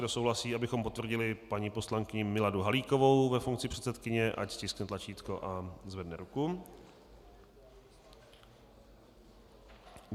Kdo souhlasí, abychom potvrdili paní poslankyni Miladu Halíkovou ve funkci předsedkyně, ať stiskne tlačítko a zvedne ruku.